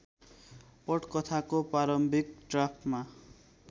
पटकथाको प्रारम्भिक ड्राफ्टमा